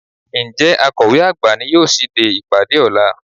Ǹjẹ́ Akọ̀we àgbà ni yóò ṣíde ìpàdé ọ̀la?